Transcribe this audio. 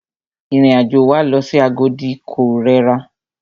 Ìrìn àjò wa lọ sí Agodi ko rẹra.